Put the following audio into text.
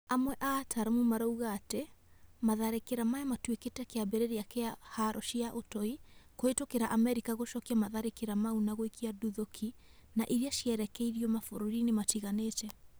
Amwe a ataramu marauga atĩ matharĩkĩra maya matuĩkire kĩambĩrĩria kĩa haro cia ũtoi, Kũhĩtũkĩra Amerika gũcokia matharĩkĩra mau na gũikia nduthũki na irĩa cierekeirio mabũrũri-inĩ matiganĩte